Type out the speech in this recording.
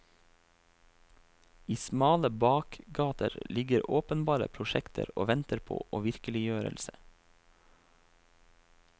I smale bakgater ligger åpenbare prosjekter og venter på virkeliggjørelse.